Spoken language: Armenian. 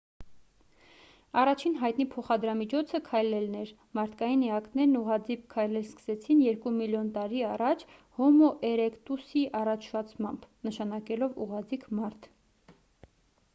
առաջին հայտնի փոխադրամիջոցը քայլելն էր մարդկային էակներն ուղղաձիգ քայլել սկսեցին երկու միլիոն տարի առաջ հոմո էրեկտուսի առաջացմամբ նշանակելով ուղղաձիգ մարդ։